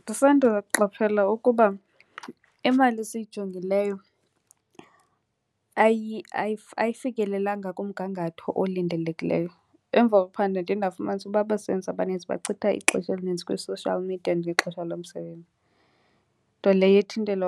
Ndisanda kuqaphela ukuba imali esiyijongileyo ayifikelelanga kumgangatho olindelekileyo. Emva kokuphanda ndiye ndafumanisa uba abasebenzi abaninzi bachitha ixesha elinintsi kwi-social media ngexesha lomsebenzi. Nto leyo ethintela